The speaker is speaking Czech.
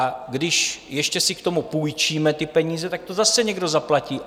A když ještě si k tomu půjčíme ty peníze, tak to zase někdo zaplatí.